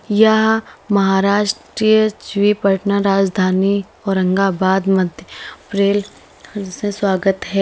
यह महाराष्ट्रीय श्री पटना राजधानी औरंगाबाद मध्य से स्वागत है।